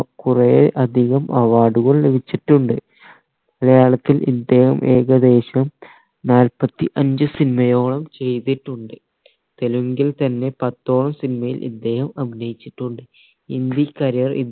കൊറേ അധികം award കൾ ലഭിച്ചിട്ടുണ്ട് മലയാളത്തിൽ ഇദ്ദേഹം ഏകദേശം നാൽപ്പത്തി അഞ്ച് cinema യോളം ചെയ്തിട്ടുണ്ട് തെലുങ്കിൽ തന്നെ പത്തോളം cinema യിൽ ഇദ്ദേഹം അഭിനയിച്ചിട്ടുണ്ട്